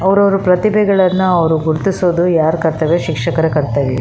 ಅವ್ರ್ ಅವ್ರ್ ಪ್ರತಿಭೆಗಳನ್ನು ಅವ್ರು ಗುರ್ತಿಸೋದು ಯಾರ್ ಕರ್ತವ್ಯ ಶಿಕ್ಷಕರ ಕರ್ತವ್ಯ-